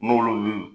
N'olu y'u